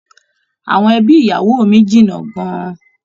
Àwọn ẹbí ìyá mí jìnnà gán-an.